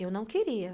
Eu não queria.